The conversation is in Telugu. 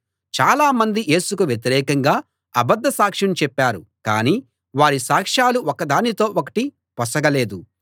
చాలామంది యేసుకు వ్యతిరేకంగా అబద్ధ సాక్ష్యం చెప్పారు కాని వారి సాక్షాలు ఒకదానితో ఒకటి పొసగలేదు